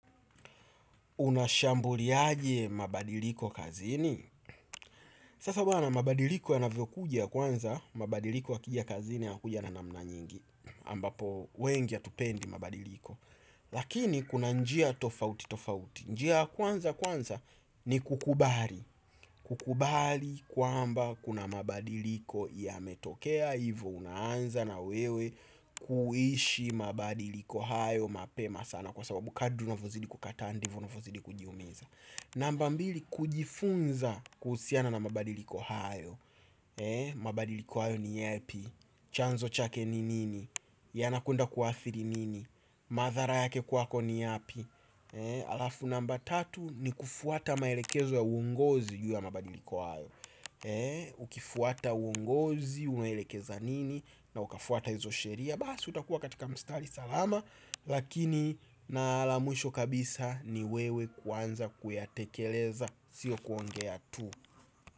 Unashambuliaje mabadiliko kazini? Sasa bana mabadiliko yanavyokuja kwanza, mabadiliko yakija kazini yanakuja na namna nyingi ambapo wengi hatupendi mabadiliko. Lakini kuna njia tofauti tofauti. Njia ya kwanza kwanza ni kukubali. Kukubali kwamba kuna mabadiliko yametokea. Hivo unaanza na wewe kuishi mabadiliko hayo mapema sana kwa sababu kadri unavyozidi kukataa ndivyo unavyozidi kujiumiza. Namba mbili, kujifunza kuhusiana na mabadiliko hayo. Mabadiliko hayo ni yepi? Chanzo chake ni nini? Yanakwenda kuathiri nini? Madhara yake kwako ni yapi? Alafu namba tatu, ni kufuata maelekezo ya ungozi juu ya mabadiliko hayo. Ukifuata uongozi unaelekeza nini na ukafuata hizo sheria basi, utakuwa katika mstari salama, lakini na la mwisho kabisa ni wewe kuanza kuyatekeleza sio kuongea tu.